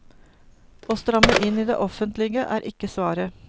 Å stramme inn i det offentlige er ikke svaret.